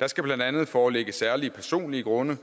der skal blandt andet foreligge særlige personlige grunde